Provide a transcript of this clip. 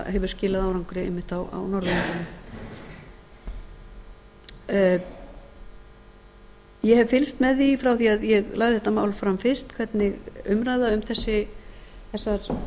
hefur skilað árangri einmitt á norðurlöndunum ég hef fylgst með því frá því að ég lagði þetta mál fram fyrst hvernig umræða um þessar